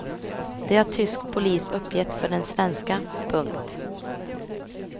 Det har tysk polis uppgett för den svenska. punkt